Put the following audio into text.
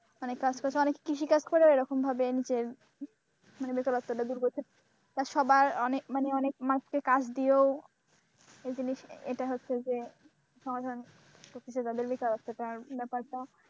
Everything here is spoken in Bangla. অনেকে আছে অনেক কৃষিকাজ করেও এরকম ভাবে নিজের মানে বেকারত্বটা দূর করতে তা সবার অনেক মানুষকে কাজ দিয়েও এই জিনিস এইটা হচ্ছে যে সমাধান ব্যাপারটা।